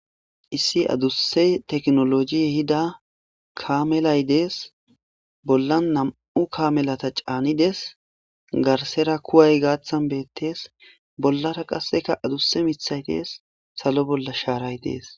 Issi aduse tekinolojey ehida kamelay des bollan nam'u kamelata c'anides. Garsekuwayi gathan bettes bollara qaseka adusa mithay Des salo bolla sharay Des.